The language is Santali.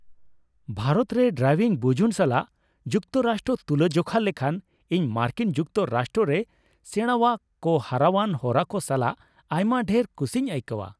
ᱵᱷᱟᱨᱚᱛ ᱨᱮ ᱰᱨᱟᱭᱵᱷᱤᱝ ᱵᱩᱡᱩᱱ ᱥᱟᱞᱟᱜ ᱡᱩᱠᱛᱚ ᱨᱟᱥᱴᱨᱚ ᱛᱩᱞᱟ ᱡᱚᱠᱷᱟ ᱞᱮᱠᱷᱟᱱ ᱤᱧ ᱢᱟᱨᱠᱤᱱ ᱡᱩᱠᱛᱚ ᱨᱟᱥᱴᱨᱚ ᱨᱮ ᱥᱮᱬᱟᱣᱟ ᱠᱚ ᱦᱚᱨᱟᱣᱟᱱ ᱦᱚᱨᱟ ᱠᱚ ᱥᱟᱞᱟᱜ ᱟᱭᱢᱟ ᱰᱷᱮᱨ ᱠᱩᱥᱤᱧ ᱟᱹᱭᱠᱟᱹᱣᱟ ᱾